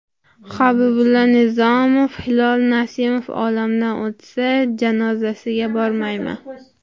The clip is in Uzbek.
Habibulla Nizomov: Hilol Nasimov olamdan o‘tsa, janozasiga bormayman.